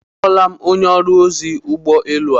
A hụla onye ọrụ ozi ụgbọelu a.